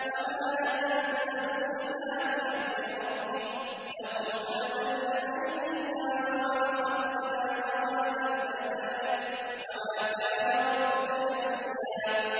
وَمَا نَتَنَزَّلُ إِلَّا بِأَمْرِ رَبِّكَ ۖ لَهُ مَا بَيْنَ أَيْدِينَا وَمَا خَلْفَنَا وَمَا بَيْنَ ذَٰلِكَ ۚ وَمَا كَانَ رَبُّكَ نَسِيًّا